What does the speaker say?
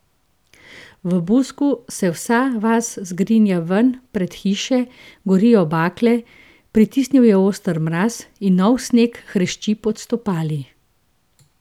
V Busku se vsa vas zgrinja ven pred hiše, gorijo bakle, pritisnil je oster mraz in novi sneg hrešči pod stopali.